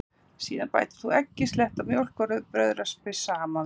Síðan bætir þú eggi, slettu af mjólk og brauðraspi saman við.